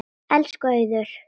Elsku Auður.